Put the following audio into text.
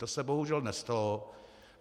To se bohužel nestalo.